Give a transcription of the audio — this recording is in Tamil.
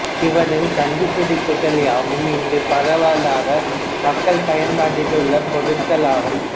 இவரின் கண்டுபிடிப்புகள் யாவும் இன்று பரவலாக மக்கள் பயன்பாட்டில் உள்ள பொருள்களாகும்